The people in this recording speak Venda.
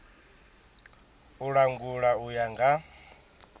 u langula u ya nga